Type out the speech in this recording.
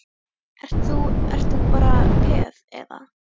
Ert þú, ert þú bara peð, eða?